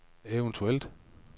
eventuelt